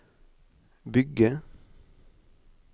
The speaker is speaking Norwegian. bygge